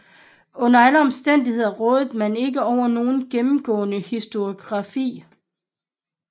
Under alle omstændigheder råder man ikke over nogen gennemgående historiegrafi